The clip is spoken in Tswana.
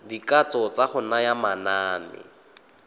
dikatso tsa go naya manane